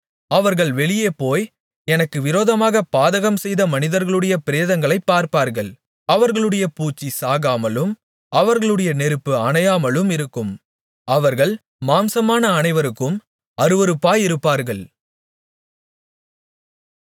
அவர்கள் வெளியே போய் எனக்கு விரோதமாகப் பாதகம்செய்த மனிதர்களுடைய பிரேதங்களைப் பார்ப்பார்கள் அவர்களுடைய பூச்சி சாகாமலும் அவர்களுடைய நெருப்பு அணையாமலும் இருக்கும் அவர்கள் மாம்சமான அனைவருக்கும் அருவருப்பாயிருப்பார்கள்